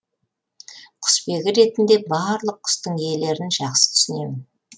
құсбегі ретінде барлық құстың иелерін жақсы түсінемін